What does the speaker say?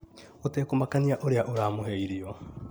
gũtekũmakania ũrĩa ũramũhe irio.